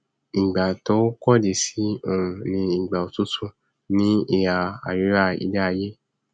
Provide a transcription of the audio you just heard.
ìgbà tó kọdí sí òòrùn ni ìgbà òtútù ní ìhà àríwá iléaiyé